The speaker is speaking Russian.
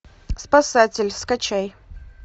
спасатель скачай